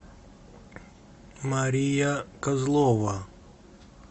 мария козлова